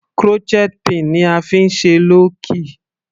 Crochet pin ni a fí ń ṣe lọ́ọ̀kì.